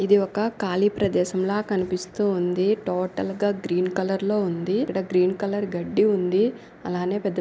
ఇది ఒక కాళీ ప్రదేశంల కనిపిస్తూ ఉంది. టోటల్ గా గ్రీన్ కలర్ లో ఉంది. ఇక్కడ గ్రీన్ కలర్ గడ్డి ఉంది. అలానే పెద్ద పెద్ద --